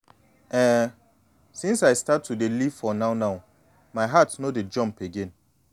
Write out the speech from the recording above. ehnnn since i start to dey live for now-now my heart no dey jump again.